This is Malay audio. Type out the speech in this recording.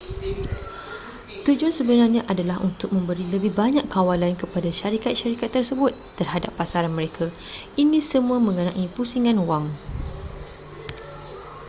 tujuan sebenarnya adalah untuk memberi lebih banyak kawalan kepada syarikat-syarikat tersebut terhadap pasaran mereka ini semua mengenai pusingan wang